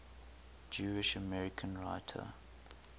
jewish american writers